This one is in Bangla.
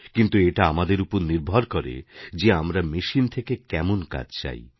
কিন্তু এটা আমাদের উপর নির্ভর করে যে আমরা মেশিন থেকে কেমন কাজ চাই